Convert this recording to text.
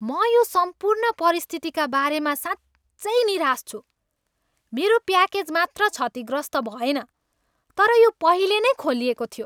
म यो सम्पूर्ण परिस्थितिका बारेमा साँच्चै निराश छु। मेरो प्याकेज मात्र क्षतिग्रस्त भएन, तर यो पहिले नै खोलिएको थियो!